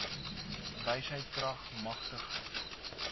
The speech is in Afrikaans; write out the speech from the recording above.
wysheid krag matigheid